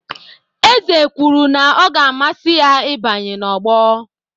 Eze kwuru na ọ ga-amasị ya ịbanye na ogbo